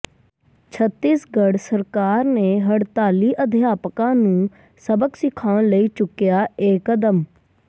ਛੱਤੀਸਗੜ੍ਹ ਸਰਕਾਰ ਨੇ ਹੜਤਾਲੀ ਅਧਿਆਪਕਾਂ ਨੂੰ ਸਬਕ ਸਿਖਾਉਣ ਲਈ ਚੁੱਕਿਆ ਇਹ ਕਦਮ